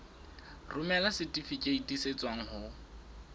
romela setifikeiti se tswang ho